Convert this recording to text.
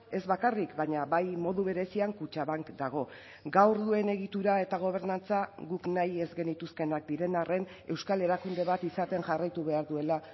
ez bakarrik baina bai modu berezian kutxabank dago gaur duen egitura eta gobernantza guk nahi ez genituzkeenak diren arren euskal erakunde bat izaten jarraitu behar duela